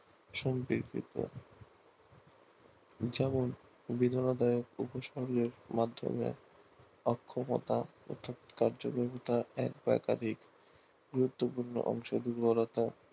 সন্ধিবুতো যেমন মাধ্যমে অক্ষমতা কার্যক্ষমতা একাধিক গুরুত্বপূর্ণ অংশ